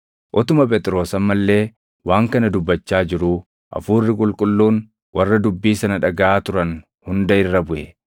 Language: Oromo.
Utuma Phexros amma illee waan kana dubbachaa jiruu, Hafuurri Qulqulluun warra dubbii sana dhagaʼaa turan hunda irra buʼe.